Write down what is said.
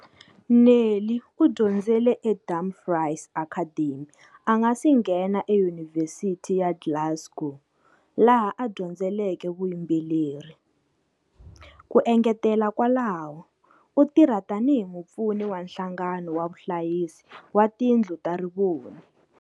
Neil u dyondzele eDumfries Academy a nga si nghena eYunivhesiti ya Glasgow, laha a dyondzeleke vuyimburi. Ku engetela kwalaho, u tirha tanihi mupfuni wa Nhlangano wa Vahlayisi va Tindlu ta Rivoni.